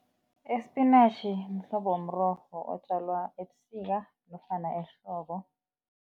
Isipinatjhi mhlobo womrorho otjalwa ebusika nofana ehlobo.